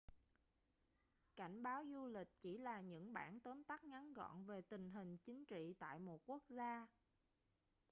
cảnh báo du lịch chỉ là những bản tóm tắt ngắn gọn về tình hình chính trị tại một quốc gia